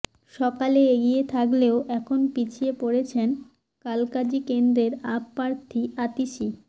সকালে এগিয়ে থাকলেও এখন পিছিয়ে পড়েছেন কালকাজি কেন্দ্রের আপ প্রার্থী আতিশী